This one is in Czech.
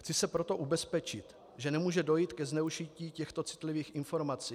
Chci se proto ubezpečit, že nemůže dojít ke zneužití těchto citlivých informací.